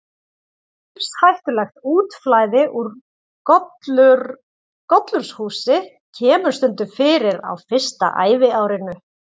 Lífshættulegt útflæði úr gollurshúsi kemur stundum fyrir á fyrsta æviárinu.